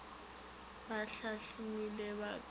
ba hlahlilwego ba ka go